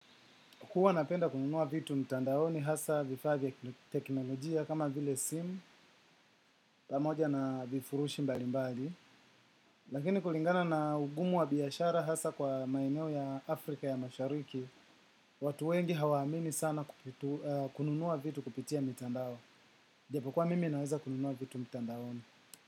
Huwa napenda kununua vitu mtandaoni hasa vifaa vya kiteknolojia kama vile simu pamoja na vifurushi mbali mbali. Lakini kulingana na ugumu wa biashara hasa kwa maeneo ya Afrika ya mashariki, watu wengi hawamini sana kununua vitu kupitia mitandao. Japokua mimi naweza kununua vitu mtandaoni.